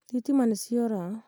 thitima nĩ ciora